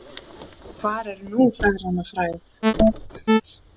Hvar er nú feðranna frægð?